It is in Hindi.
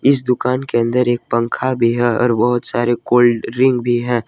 इस दुकान के अंदर एक पंखा भी है और बहुत सारे कोल्ड ड्रिंक भी है ।